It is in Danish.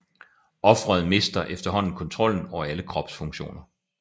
Ofret mister efterhånden kontrollen over alle kropsfunktioner